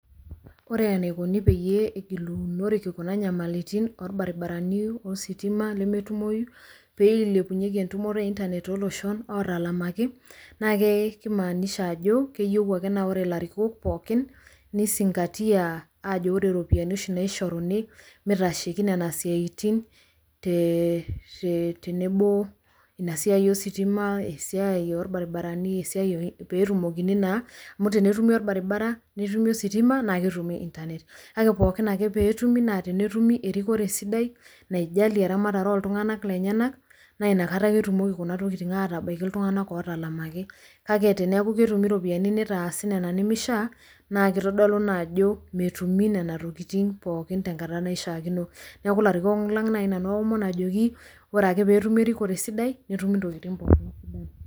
ore enaikoni peyie egilunoreki kuna nyamalitin oolbaribarani, ositima, nemetumoyu, pee eilepunyeki entumoto e internet tooloshon ootalamaki, naa kimaanisha, ajo keyieu ake na ore ilarikok pookin, nisingatia, aajo ore iropiyinai oshi pookin naishoruni, mitasheiki oshi nena, siatin te tenebo, inasiai, ositima, esiai, oolbaribarani, esiai, pee etumokini naa. amu tenetumi olbaribara, netumi ositima naa ketumi internet kake pookin ake tenetum, naa tenetumi erikore, sidai, naijalie eramatare ooltunganak lenyanak, na inkata ake etumoki kuna tokitin aatabaiki iltunganak ootalamaki. kake teneku ketumi iropiyiani, nitasi nena nimishaa naa kitodolu naa ajo, metumi nena tokitin pookin tenkata naishaakino. neku iarkikok lang naji nanu aomon ajoki, ore ake pyie etumi erikore sidai netumi, intokitin pokin.